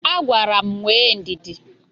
Agwara m nwee ndidi.